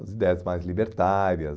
as ideias mais libertárias.